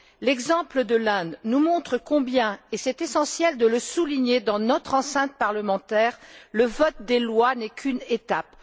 L'exemple de l'Inde nous montre combien et c'est essentiel de le souligner dans notre enceinte parlementaire le vote des lois n'est qu'une étape.